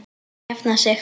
Hann jafnar sig.